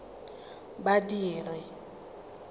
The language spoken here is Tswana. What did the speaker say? badiri